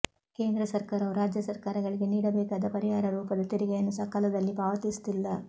ಕೇಂದ್ರ ಸರ್ಕಾರವು ರಾಜ್ಯ ಸರ್ಕಾರಗಳಿಗೆ ನೀಡಬೇಕಾದ ಪರಿಹಾರ ರೂಪದ ತೆರಿಗೆಯನ್ನು ಸಕಾಲದಲ್ಲಿ ಪಾವತಿಸುತ್ತಿಲ್ಲ